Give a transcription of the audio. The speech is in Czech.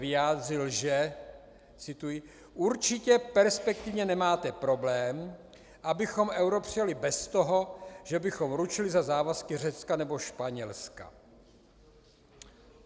vyjádřil, že - cituji - určitě perspektivně nemáte problém, abychom euro přijali bez toho, že bychom ručili za závazky Řecka nebo Španělska.